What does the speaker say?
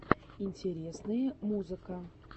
интересные музыка